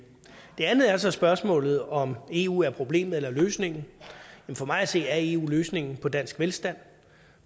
det andet er så spørgsmålet om om eu er problemet eller løsningen for mig at se er eu løsningen på dansk velstand